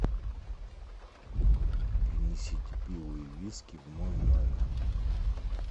принесите пиво и виски в мой номер